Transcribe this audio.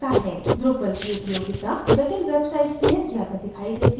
drupal की उपयोगिता जटिल websites में ज़्यादा दिखाई देती है